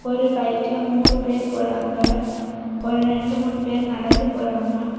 ஒரு பைக்ல மூணு பேர் போறாங்க ஒரு ரெண்டு மூணு பேர் நடந்து போறாங்க.